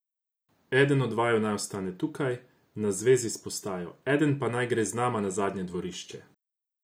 Eden od vaju naj ostane tukaj, na zvezi s postajo, eden pa naj gre z nama na zadnje dvorišče.